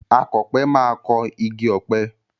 Akọ̀pẹ máa kọ igi ọ̀pẹ.